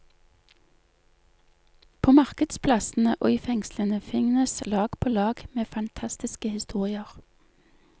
På markedsplassene og i fengslene finnes lag på lag med fantastiske historier.